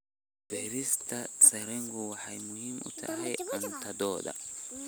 Beerista sarreenku waxay muhiim u tahay cuntadooda.